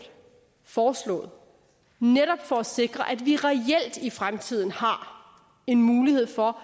foreslået netop for at sikre at vi reelt i fremtiden har en mulighed for